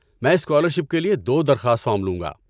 میں اسکالرشپ کے لیے دو درخواست فارم لوں گا۔